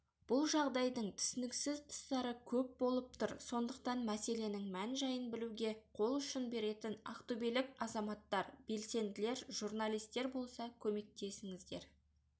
бұл жағдайдың түсініксіз тұстары көп болып тұр сондықтан мәселенің мән жайын білуге қол ұшын беретін ақтөбелік азаматтар белсенділер журналистер болса көмектесіңіздер